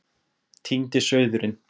Týndi sauðurinn